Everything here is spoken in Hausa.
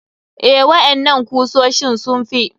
Eh, waƴannan kusoshin sun fi.